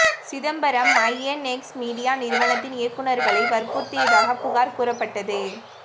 Chidambaram INX media நிறுவனத்தின் இயக்குனர்களை வற்புறுத்தியதாக புகார் கூறப்பட்டது